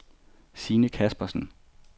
Sine Caspersen